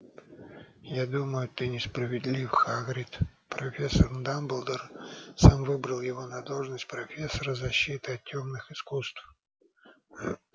я думаю ты несправедлив хагрид профессор дамблдор сам выбрал его на должность профессора защиты от тёмных искусств